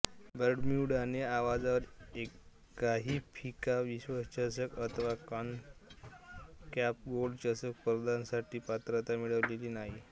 बर्म्युडाने आजवर एकाही फिफा विश्वचषक अथवा कॉन्ककॅफ गोल्ड चषक स्पर्धांसाठी पात्रता मिळवलेली नाही